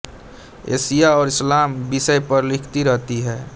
Asia और इस्लाम विषय पर लिखती रहती हैं